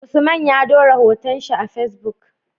Usman ya dora hoton shi a Facebook